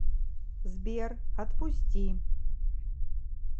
сбер отпусти